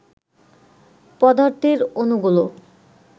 পদার্থের অণুগুলো